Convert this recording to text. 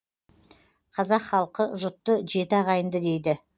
қазақ халқы жұтты жеті ағайынды дейді